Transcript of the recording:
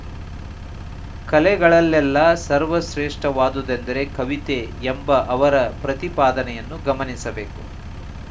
ಕಲೆಗಳಲ್ಲೆಲ್ಲ ಸರ್ವಶ್ರೇಷ್ಠವಾದುದೆಂದರೆ ಕವಿತೆ ಎಂಬ ಅವರ ಪ್ರತಿಪಾದನೆಯನ್ನು ಗಮನಿಸಬೇಕು